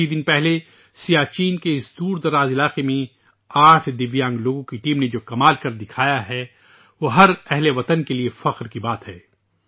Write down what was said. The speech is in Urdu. کچھ ہی دن پہلے سیاچن کے اس ناقابل رسائی علاقے میں 8دیویانگ لوگوں کی ٹیم نے جو حیرت انگیز کام کیے ہیں، وہ ہر ہم وطن کے لیے فخر کی بات ہے